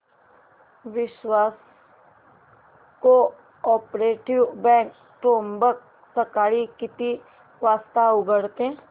विश्वास cooperative bank Trimbak सकाळी किती वाजता उघडते